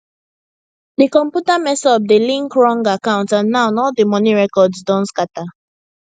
di computer mess up de link wrong account and now all di money records don scatter